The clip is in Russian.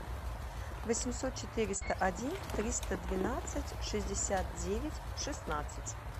восемьсот четыреста один триста двенадцать шестьдесят девять шестнадцать